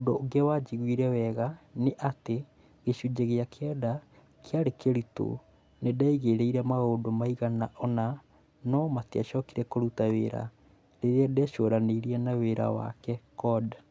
Ũndũ ũngĩ wanjiguire wega nĩ atĩ, "Gĩcunjĩ gĩa kenda kĩarĩ kĩritũ, nĩ ndageririe maũndũ maigana ũna no matiacokire kũruta wĩra, rĩrĩa ndecũranirie na wĩra wake (code)